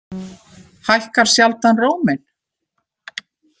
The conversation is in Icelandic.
Hækkar sjaldan róminn.